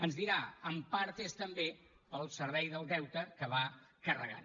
ens deurà dir en part és també pel servei del deute que va carregant